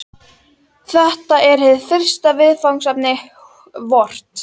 Þetta er hið fyrsta viðfangsefni vort.